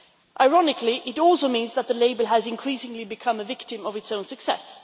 Ironically, it also means that the label has increasingly become a victim of its own success.